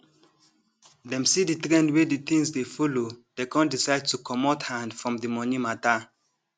dem see the trend wey the thing dey follow dey con decide to comot hand from the money matter